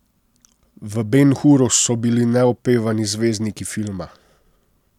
V Ben Huru so bili neopevani zvezdniki filma.